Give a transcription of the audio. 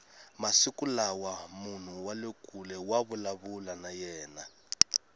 masiku lawa munhu wale kule wa vulavula na yena